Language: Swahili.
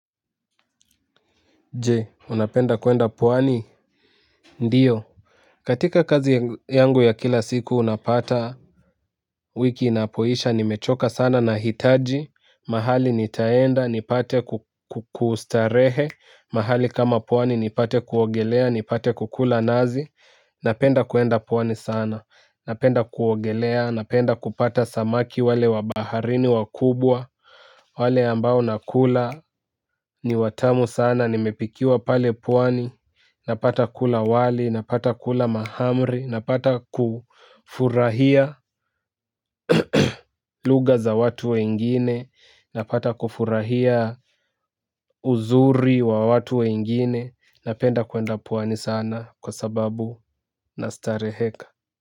Je unapenda kuenda pwani ndio katika kazi yangu ya kila siku unapata wiki inapoisha nimechoka sana na hitaji mahali nitaenda nipate kustarehe mahali kama pwani nipate kuogelea nipate kukula nazi napenda kuenda puwani sana napenda kuogelea napenda kupata samaki wale wabaharini wakubwa wale ambao nakula ni watamu sana nimepikiwa pale pwani. Napata kula wali, napata kula mahamri, napata kufurahia lugha za watu wengine, napata kufurahia uzuri wa watu wengine, napenda kuenda pwani sana kwa sababu nastareheka.